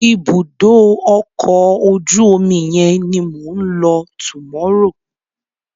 Ibùdó ọkọ̀ ojú omi yẹn ni mò ń lọ tomorrow.